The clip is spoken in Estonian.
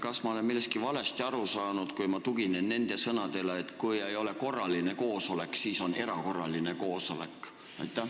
Kas ma olen millestki valesti aru saanud, kui ma tuginen sõnadele, et kui ei ole korraline koosolek, siis on erakorraline koosolek?